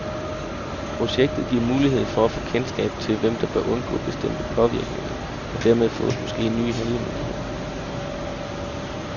Projektet giver mulighed for at få kendskab til, hvem der bør undgå bestemte påvirkninger, og dermed fås måske nye handlemuligheder.